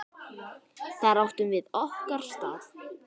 Þar áttum við okkar stað.